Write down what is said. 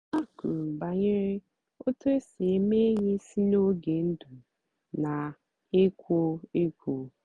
ha kwùrù bànyèrè otú èsì èmé ényì sí n'ógè ndụ́ na-èkwó èkwò.